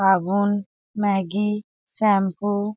साबुन Maggi shampoo --